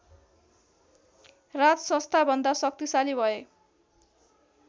राजसंस्थाभन्दा शक्तिशाली भए